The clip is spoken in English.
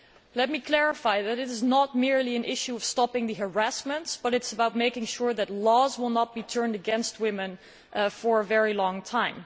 Let me clarify that it is not merely an issue of stopping the harassments, but also about making sure that laws will not be turned against women for a very long time.